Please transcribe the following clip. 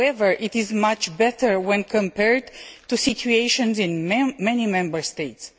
However it is much better when compared to the situation in many Member States.